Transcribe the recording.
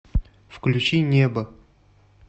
включи небо